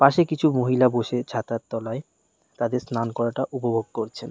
পাশে কিছু মহিলা বসে ছাতার তলায় তাদের স্নান করাটা উপভোগ করছেন।